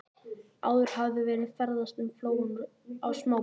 Áður hafði verið ferðast um flóann á smábátum.